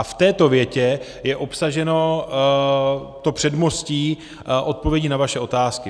A v této větě je obsaženo to předmostí odpovědi na vaše otázky.